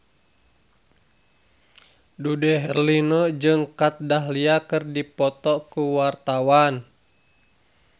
Dude Herlino jeung Kat Dahlia keur dipoto ku wartawan